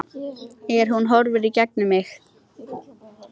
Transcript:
En hún horfir í gegnum mig